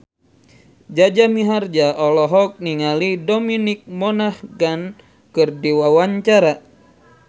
Jaja Mihardja olohok ningali Dominic Monaghan keur diwawancara